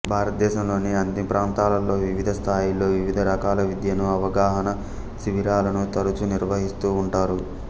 భారతదేశంలోని అన్ని ప్రాంతాలలో వివిధ స్థాయిలలో వివిధ రకాల విద్యను అవగాహన శిబిరాలను తరచూ నిర్వహిస్తూ ఉంటారు